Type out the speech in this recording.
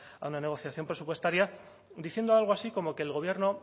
a una negociación presupuestaria diciendo algo así como que el gobierno